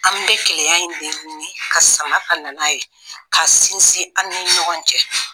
An be keleya in de ɲini ka sama ka na n'a ye k'a sinsin an ni ɲɔgɔn cɛ